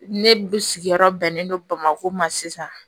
Ne sigiyɔrɔ bɛnnen don bamako ma sisan